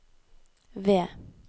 V